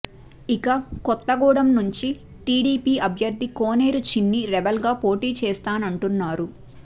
ఇక కొత్తగూడెం నుంచి టీడీపీ అభ్యర్ధి కోనేరు చిన్ని రెబల్ గా పోటీ చేస్తానంటున్నారు